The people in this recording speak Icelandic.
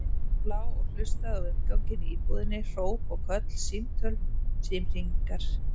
Hann lá og hlustaði á umganginn í íbúðinni, hróp og köll, símtöl, símhringingar.